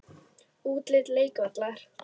Útlit leikvallar?